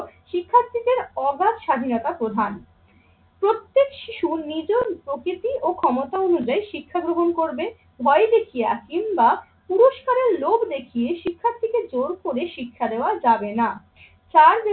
শিক্ষার্থীদের অগাধ স্বাধীনতা প্রধান। প্রত্যেক শিশুর নিজ প্রকৃতি ও ক্ষমতা অনুযায়ী শিক্ষা গ্রহণ করবে। ভয় দেখিয়ে কিংবা পুরস্কারের লোভ দেখিয়ে শিক্ষার্থীকে জোর করে শিক্ষা দেওয়া যাবে না।